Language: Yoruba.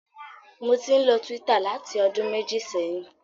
Mo ti ń lo Twitter láti ọdún méjì sẹ́yìn.